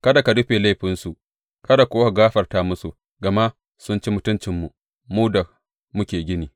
Kada ka rufe laifinsu, kada kuwa ka gafarta musu, gama sun ci mutuncinmu, mu da muke gini.